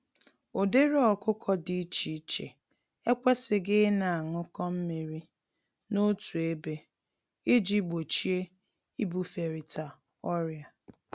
Ụdịrị ọkụkọ dị iche iche ekwesighi ịna añụkọ mmírí n'otu ébé, iji gbochie ibuferịta ọrịa.